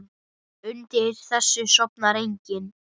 Og undir þessu sofnar enginn.